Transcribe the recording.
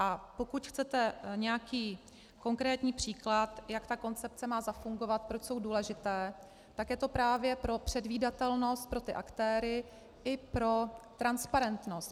A pokud chcete nějaký konkrétní příklad, jak ta koncepce má zafungovat, proč je důležitá, tak je to právě pro předvídatelnost pro ty aktéry i pro transparentnost.